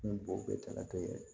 Ni bo bɛɛ taara